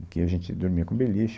E que a gente dormia com beliche.